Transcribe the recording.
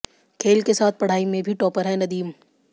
खेल के साथ पढ़ाई में भी टॉपर हैं नदीम